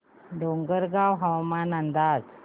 डोंगरगाव हवामान अंदाज